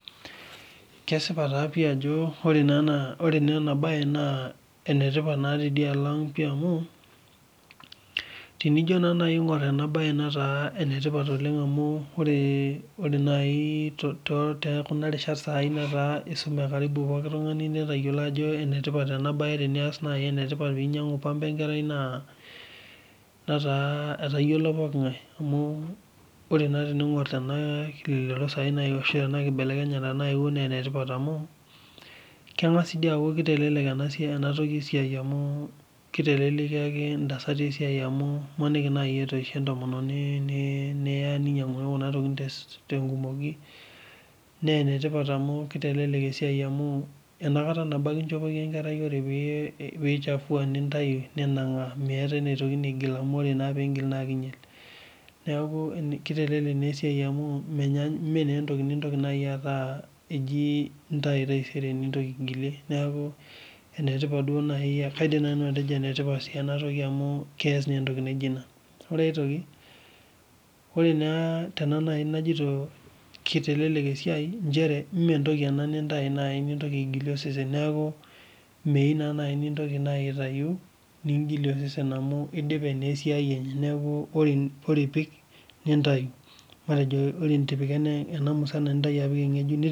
Kesipa taa pii ajo ore enabae na enetipat oleng tenkopang amu tenijo aingir enabae tekuna rishat nataa isume pokki tungani netayiolo ajobenetipat teninyangu pamba enkerai na etayiolo pooki ngae amu ore pingur enakibelekenya na enetipat amu kengas aaaku kitelekiaki ntasati esiai amu imaniki nai etoishe entomononi ne enetipat amu kitelelek esiai amu enakata nabo ake inchopoki enkerai nichafua ninanga meetae enashukokini enkerai neaku kitelelek esiai mentoki najibintau taisere ningil ashukoki neake enetipat enabae amu kaidim atejo enetipat amu keas entoki naijo ena meentoki nintau nintokibaigilie osesen neaku meyieu nai ningasa aitau nintoki aigilie osesen amu idipe na esiai enye neakubore otipika enamusana nintoki apik engejuk